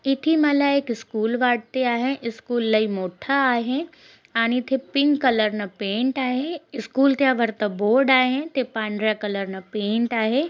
इथे मला एक स्कूल वाटती आहे स्कूल लय मोठ्ठ आहे आणि ते पिंक कलर न पेंट आहे स्कूल त्या वरत बोर्ड आहे ते पांढऱ्या कलर न पेंट आहे.